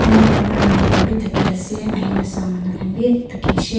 Konba cameraman khanbe thaki asa ahina sa manu khanbe thakisha.